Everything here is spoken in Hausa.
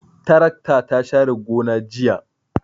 Tarakta ta share gona jiya.